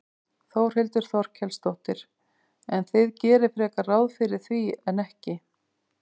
Þórhildur Þorkelsdóttir: En þið gerið frekar ráð fyrir því en ekki?